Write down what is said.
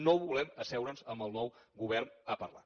no volem asseure’ns amb el nou govern a parlar